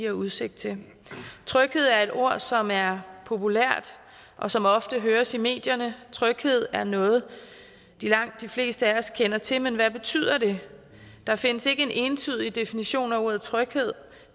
udsigt til tryghed er et ord som er populært og som ofte høres i medierne tryghed er noget langt de fleste af os kender til men hvad betyder det der findes ikke en entydig definition af ordet tryghed